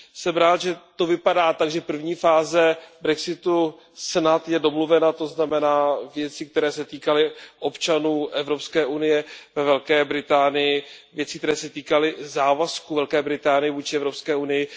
Jsem rád, že to vypadá tak, že první fáze brexitu snad je domluvena, to znamená věci, které se týkaly občanů Evropské unie ve Velké Británii a závazků Velké Británie vůči Evropské unii.